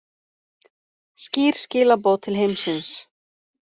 Skýr skilaboð til heimsins